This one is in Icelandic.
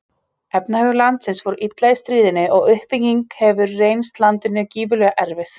Efnahagur landsins fór illa í stríðinu og uppbyggingin hefur reynst landinu gífurlega erfið.